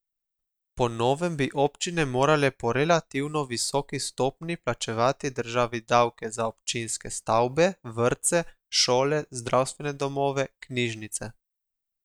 Po novem bi občine morale po relativno visoki stopnji plačevati državi davke za občinske stavbe, vrtce, šole, zdravstvene domove, knjižnice.